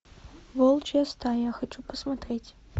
волчья стая хочу посмотреть